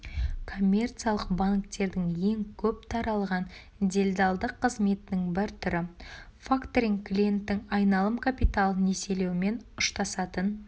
коммерциялық банктердің ең көп таралған делдалдық қызметінің бір түрі факторинг клиенттің айналым капиталын несиелеумен ұштасатын